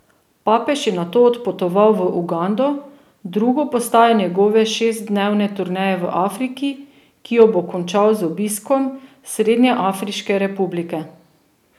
Papež je nato odpotoval v Ugando, drugo postajo njegove šestdnevne turneje v Afriki, ki jo bo končal z obiskom Srednjeafriške republike.